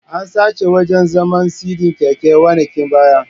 An sace wajan zaman/sidi keken wanakin baya